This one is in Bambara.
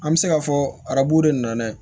An bɛ se k'a fɔ arabuw de nana